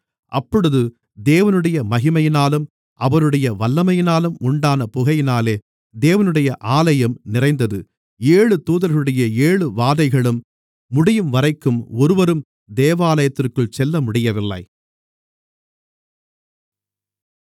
அப்பொழுது தேவனுடைய மகிமையினாலும் அவருடைய வல்லமையினாலும் உண்டான புகையினாலே தேவனுடைய ஆலயம் நிறைந்தது ஏழு தூதர்களுடைய ஏழு வாதைகளும் முடியும்வரைக்கும் ஒருவரும் தேவாலயத்திற்குள் செல்லமுடியவில்லை